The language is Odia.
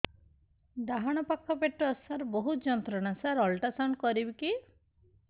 ଡାହାଣ ପାଖ ପେଟ ସାର ବହୁତ ଯନ୍ତ୍ରଣା ସାର ଅଲଟ୍ରାସାଉଣ୍ଡ କରିବି କି